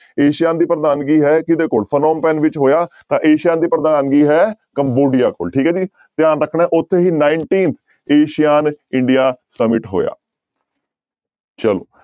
Asean ਦੀ ਪ੍ਰਧਾਨਗੀ ਹੈ ਕਿਹਦੇ ਕੋਲ ਫੈਨਿਮਪੈਨ ਵਿੱਚ ਹੋਇਆ ਤਾਂ ਏਸੀਆ ਦੀ ਪ੍ਰਧਾਨਗੀ ਹੈ ਕੰਬੋਡੀਆ ਕੋਲ ਠੀਕ ਹੈ ਜੀ ਧਿਆਨ ਰੱਖਣਾ ਹੈ ਉੱਥੇ ਹੀ nineteen asean india summit ਹੋਇਆ ਚਲੋ।